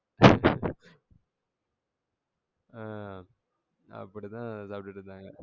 ஆ அப்டிதான் சாப்டுட்டு இருந்தாங்க.